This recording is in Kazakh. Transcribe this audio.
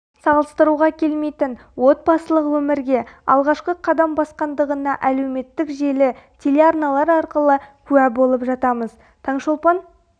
салыстыруға келмейтін отбасылық өмірге алғашқы қадам басқандығына әлеуметтік желі телеарналар арқылы куә болып жатамыз таңшолпан